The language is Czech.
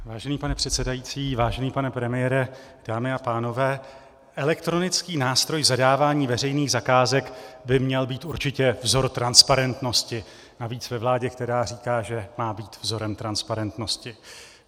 Vážený pane předsedající, vážený pane premiére, dámy a pánové, elektronický nástroj zadávání veřejných zakázek by měl být určitě vzorem transparentnosti, navíc ve vládě, která říká, že má být vzorem transparentnosti.